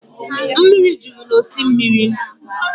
Mmiri juru n'osimiri